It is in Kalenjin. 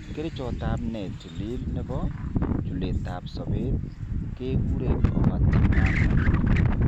Kerichotab ne tilil nebo chuletab sobet kekure ofatimumab.